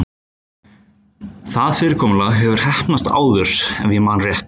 Það fyrirkomulag hefur heppnast áður- ef ég man rétt.